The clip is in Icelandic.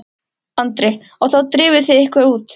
Andri: Og þá drifuð þið ykkur út?